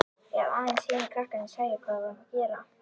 Ef aðeins hinir krakkarnir sæju hvað við vorum að gera.